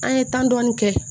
An ye tan dɔɔni kɛ